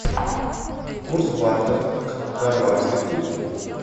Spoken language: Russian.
курс бата к хорватской куне